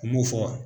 U m'o fɔ